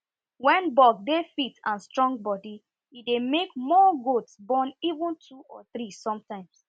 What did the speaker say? when buck dey fit and strong body e dey make more goats born even two or three sometime